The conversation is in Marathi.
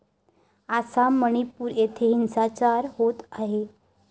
आसाम, मणिपूर इथे हिंसाचार होत आहे.